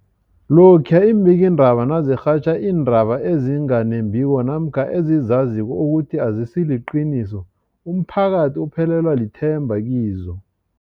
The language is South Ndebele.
Lokhuya iimbikiindaba nazirhatjha iindaba ezinga nembiko namkha ezizaziko ukuthi azisiliqiniso, umphakathi uphelelwa lithemba kizo.